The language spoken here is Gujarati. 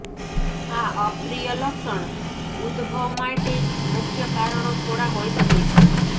આ અપ્રિય લક્ષણ ઉદભવ માટે મુખ્ય કારણો થોડા હોઈ શકે છે